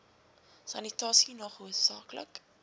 sanitasie nog hoofsaaklik